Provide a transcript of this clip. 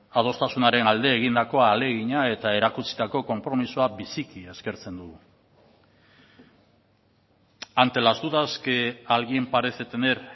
adostasunaren alde egindako ahalegina eta erakutsitako konpromisoa biziki eskertzen dugu ante las dudas que alguien parece tener